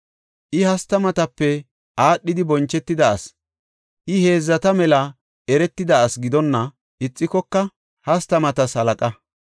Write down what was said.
I hastamatape aadhidi bonchetida asi; I heedzata mela eretida asi gidonna ixikoka hastamatas halaqa.